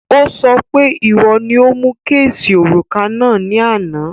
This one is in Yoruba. Ó sọ pé ìwo ni o mu kéèsì òrùka náà ní àná